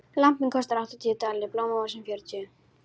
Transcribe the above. Lampinn kostar áttatíu dali, blómavasinn fjörutíu.